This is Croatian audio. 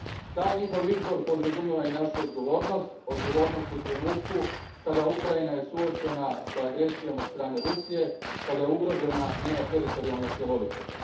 Taj njihov izbor podrazumijeva i našu odgovornost, odgovornost u trenutku kada je Ukrajina suočena s agresijom od strane Rusije, kada je ugrožena njezina teritorijalna cjelovitost.